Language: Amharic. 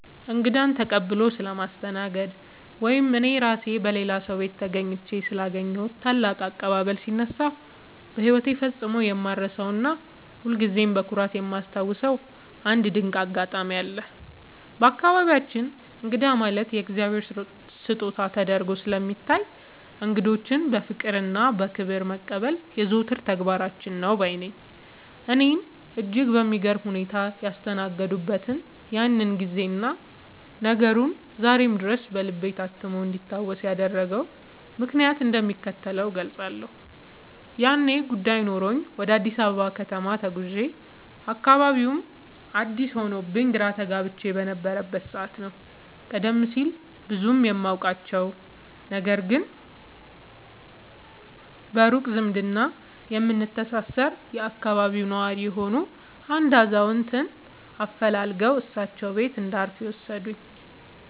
እንግዳን ተቀብሎ ስለማስተናገድ ወይም እኔ ራሴ በሌላ ሰው ቤት ተገኝቼ ስላገኘሁት ታላቅ አቀባበል ሲነሳ፣ በሕይወቴ ፈጽሞ የማልረሳውና ሁልጊዜም በኩራት የማስታውሰው አንድ ድንቅ አጋጣሚ አለ። በአካባቢያችን እንግዳ ማለት የእግዚአብሔር ስጦታ ተደርጎ ስለሚታይ፣ እንግዶችን በፍቅርና በክብር መቀበል የዘወትር ተግባራችን ነው ባይ ነኝ። እኔን እጅግ በሚገርም ሁኔታ ያስተናገዱበትን ያንን ጊዜና ነገሩ ዛሬም ድረስ በልቤ ታትሞ እንዲታወስ ያደረገውን ምክንያት እንደሚከተለው እገልጻለሁ፦ ያኔ ጉዳይ ኖሮኝ ወደ አዲስ አበባ ከተማ ተጉዤ፣ አካባቢውም አዲስ ሆኖብኝ ግራ ተጋብቼ በነበረበት ሰዓት ነው፤ ቀደም ሲል ብዙም የማውቃቸው፣ ነገር ግን በሩቅ ዝምድና የምንተሳሰር የአካባቢው ነዋሪ የሆኑ አንድ አዛውንት አፈላልገው እሳቸው ቤት እንዳርፍ የወሰዱኝ።